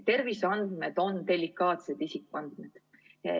Terviseandmed on delikaatsed isikuandmed.